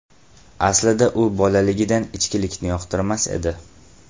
Aslida u bolaligidan ichkilikni yoqtirmas edi.